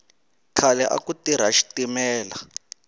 khale aku tirha xitimela